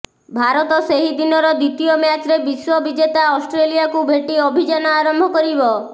ଭାରତ ସେହିଦିନର ଦ୍ୱିତୀୟ ମ୍ୟାଚ୍ରେ ବିଶ୍ୱ ବିଜେତା ଅଷ୍ଟ୍ରେଲିଆକୁ ଭେଟି ଅଭିଯାନ ଆରମ୍ଭ କରିବ